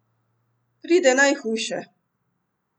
Pride najhujše.